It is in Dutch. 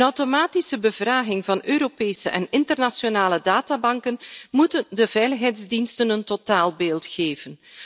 Een automatische bevraging van Europese en internationale databanken moet de veiligheidsdiensten een totaalbeeld geven.